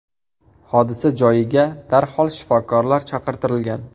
Hodisa joyiga darhol shifokorlar chaqirtirilgan.